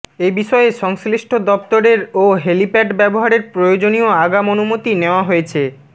এবিষয়ে সংশ্লিষ্ট দপ্তরের ও হ্যালিপ্যাড ব্যবহারের প্রয়োজনীয় আগাম অনুমতি নেওয়া হয়েছে